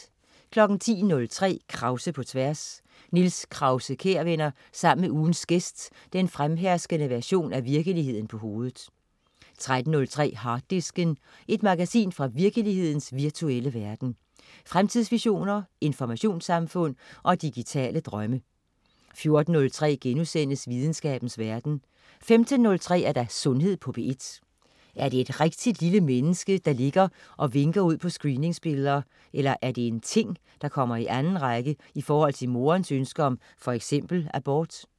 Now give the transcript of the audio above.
10.03 Krause på tværs. Niels Krause-Kjær vender sammen med ugens gæst den fremherskende version af virkeligheden på hovedet 13.03 Harddisken. Et magasin fra virkelighedens virtuelle verden. Fremtidsvisioner, informationssamfund og digitale drømme 14.03 Videnskabens verden* 15.03 Sundhed på P1. Er det et rigtigt lille menneske, der ligger og vinker ud på screeningsbilleder, eller er det en ting, der kommer i anden række i forhold til moderens ønsker om f.eks. abort?